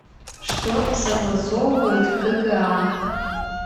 что согласовывают в кга